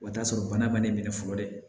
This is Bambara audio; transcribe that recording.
O t'a sɔrɔ bana ma ne minɛ fɔlɔ dɛ